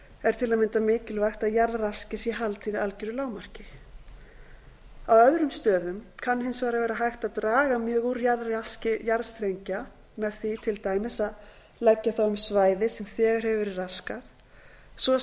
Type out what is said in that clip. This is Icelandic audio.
er til að mynda mikilvægt að jarðraski sé haldið í algjöru lágmarki á öðrum stöðum kann hins vegar að vera hægt að draga mjög úr jarðraski jarðstrengja með því til dæmis að leggja þá um svæði sem þegar hefur verið raskað svo